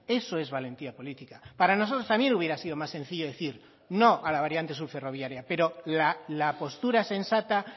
eso es valentía política para nosotros también hubiera sido más sencillo decir no a la variantes sur ferroviaria pero la postura sensata